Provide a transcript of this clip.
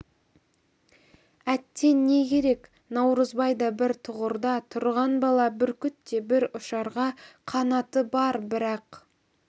әттең не керек наурызбай да бір тұғырда тұрған бала бүркіт те бір ұшарға қанаты бар бірақ